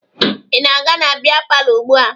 Ị na-aga na bịa palọ ugbua?